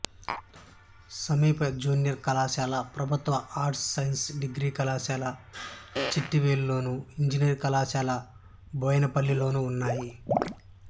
సమీప జూనియర్ కళాశాల ప్రభుత్వ ఆర్ట్స్ సైన్స్ డిగ్రీ కళాశాల చిట్వేలు లోను ఇంజనీరింగ్ కళాశాల బోయనపల్లె లోనూ ఉన్నాయి